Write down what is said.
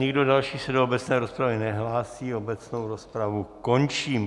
Nikdo další se do obecné rozpravy nehlásí, obecnou rozpravu končím.